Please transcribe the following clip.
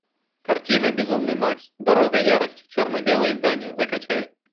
картина безумный макс дорога ярости черно белое издание закачай